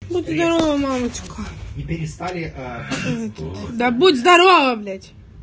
будь здорова мамочка да будь здорова блять